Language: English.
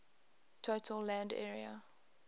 total land area